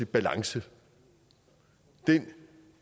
balance den